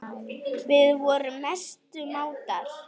Við vorum mestu mátar.